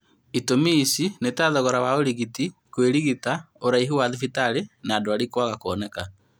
itũmi ici ni ta thogora wa ũrigiti, kũĩrigita, ũraihĩrĩru wa thibitarĩ na ndwari kwaga kuoneka